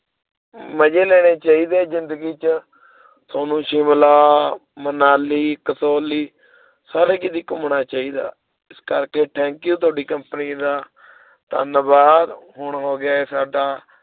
ਮਜੇ ਲੈਣੇ ਚਾਹੀਦੀ ਆ ਜਿੰਦਗੀ ਚ ਥੋਨੂੰ ਸ਼ਿਮਲਾ, ਮਨਾਲੀ, ਕਸੌਲੀ, ਸਾਰੇ ਕੀਤੇ ਘੁੰਮਣਾ ਚਾਹੀਦਾ ਇਸ ਕਰਕੇ thank you ਤੁਹਾਡੀ company ਦਾ ਧੰਨਵਾਦ ਹੁਣ ਹੋਗਿਆ ਏ ਸਾਡਾ